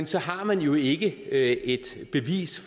så har man jo ikke et bevis